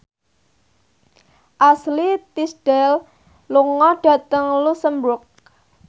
Ashley Tisdale lunga dhateng luxemburg